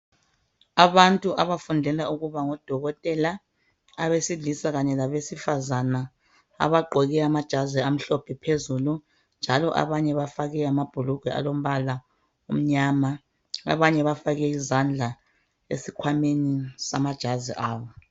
Abantu abafundela ukuba ngodokotela abaselisa kanye labesifazana abagqoke amajazi amhlophe phezulu njalo abanye bafake amabhulugwe alombala omnyama abanye bafake izandla esikhwameni samajazi zabo